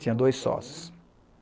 Tinha dois sócios.